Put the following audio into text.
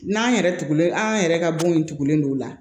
N'an yɛrɛ tugulen an yɛrɛ ka bon in tugulen don o la